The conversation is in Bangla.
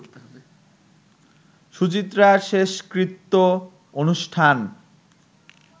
সুচিত্রার শেষকৃত্য অনুষ্ঠান